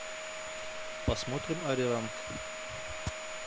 посмотрим ари ранг